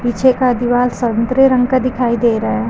पीछे का दीवार संतरे रंग का दिखाई दे रहा है।